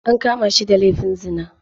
An kama shi da laifin zina.